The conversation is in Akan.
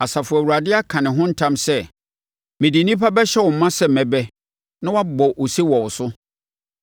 Asafo Awurade aka ne ho ntam sɛ: mede nnipa bɛhyɛ wo ma sɛ mmɛbɛ, na wɔabɔ ose wɔ wo so.